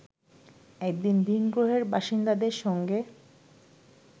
একদিন ভিনগ্রহের বাসিন্দাদের সঙ্গে